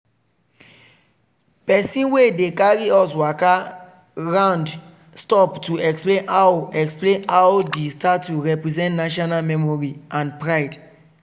person wey dey carry us waka round stop to explain how explain how di statue represent national memory and pride.